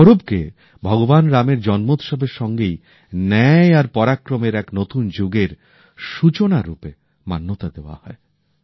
এই পরবকে ভগবান রামের জন্মোৎসবের সঙ্গেই ন্যায় আর পরাক্রমের এক নতুন যুগের সূচনা রূপে মান্যতা দেওয়া হয়